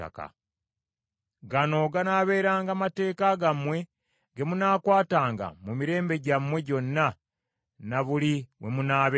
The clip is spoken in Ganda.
“ ‘Gano ganaabeeranga mateeka gammwe ge munaakwatanga mu mirembe gyammwe gyonna ne buli we munaabeeranga.